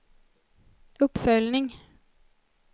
uppföljning